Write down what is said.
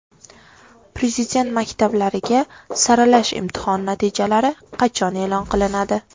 Prezident maktablariga saralash imtihoni natijalari qachon e’lon qilinadi?.